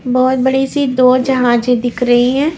बहुत बड़ी सी दो जहाजें दिख रही हैं।